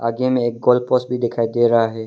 आगे में एक गोल पोस्ट भी दिखाई दे रहा है।